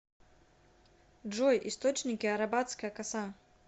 джой источники арабатская коса